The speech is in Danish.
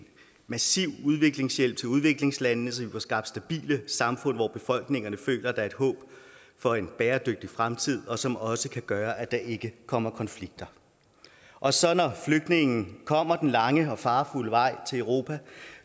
massiv udviklingshjælp til udviklingslandene så vi får skabt stabile samfund hvor befolkningerne føler at der er et håb for en bæredygtig fremtid og som også kan gøre at der ikke kommer konflikter og så når flygtningen kommer den lange og farefulde vej til europa